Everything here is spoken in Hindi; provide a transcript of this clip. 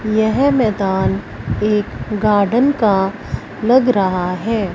यह मैदान एक गार्डन का लग रहा है।